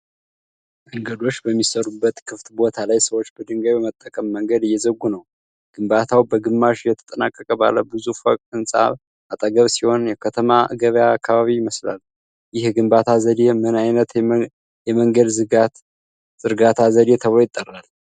መንገዶች በሚሠሩበት ክፍት ቦታ ላይ ሰዎች በድንጋይ በመጠቀም መንገድ እየዘረጉ ነው። ግንባታው በግማሽ የተጠናቀቀ ባለ ብዙ ፎቅ ሕንፃ አጠገብ ሲሆን፣ የከተማ ገበያ አካባቢ ይመስላል። ይህ የግንባታ ዘዴ ምን ዓይነት የመንገድ ዝርጋታ ዘዴ ተብሎ ይጠራል?